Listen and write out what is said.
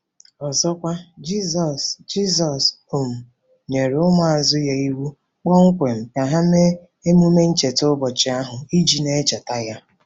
Ọzọkwa, Jizọs Jizọs um nyere ụmụazụ ya iwu kpọmkwem ka ha mee ememe ncheta ụbọchị ahụ iji na-echeta ya.